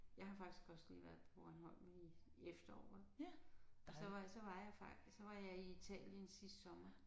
Jeg har faktisk også lige været på Bornholm i efteråret og så var jeg så var jeg så var jeg i Italien sidste sommer